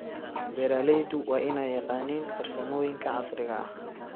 Beeraleydu waa inay yaqaaniin farsamooyinka casriga ah.